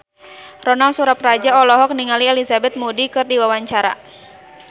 Ronal Surapradja olohok ningali Elizabeth Moody keur diwawancara